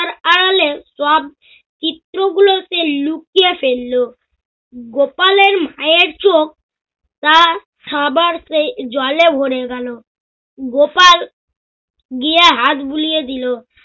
তাহলে সব চিত্র গুলকে লুকিয়ে ফেলল। গোপালের মায়ের চোখ তা খাবার পেয়ে জলে ভরে গেল। গোপাল গিয়ে হাত বুলিয়ে দিল।